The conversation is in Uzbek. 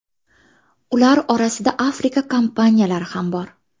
Ular orasida Afrika kompaniyalari ham bor.